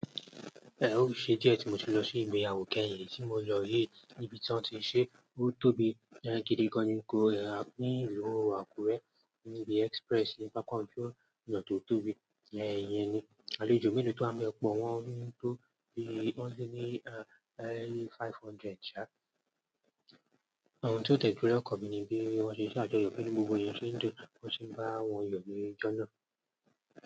E o ṣe diẹ ti mo ti lọ sí ìgbéyàwó kẹ́yìn. Eyi tí mo lọ yii níbi tí wọ́n ti ṣe, ó tóbi gan gidi gan ni nílu Àkúrẹ́ níbi Express nípa kan tí ó yàn tó tóbi jẹ́ ẹ̀yin ni, àlejò mélòó tó há mí ọ̀pọ̀ wọ́n tó bí wọ́n ní ẹ́li five hundred já, àwọn tó tẹ̀lé ọkọ̀ níbi bí wọ́n ṣe ṣàjọyọ̀ pẹ́lú gbogbo ẹ̀yin ṣe ń jọ, wọ́n sì ń bá wọn yàn ní ijó náà.